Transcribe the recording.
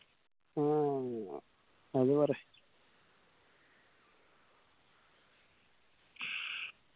മ്മ് അത് പറ